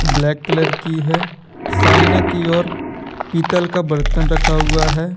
Black colour की है सामने की ओर पीतल का बर्तन रखा हुआ है।